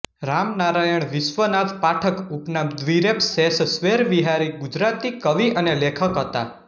રામનારાયણ વિશ્વનાથ પાઠક ઉપનામ દ્રિરેફ શેષ સ્વૈરવિહારી ગુજરાતી કવિ અને લેખક હતા